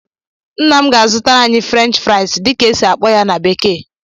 Nna m ga-azụtara anyị "French fries" dịka esi akpọ ya na bekee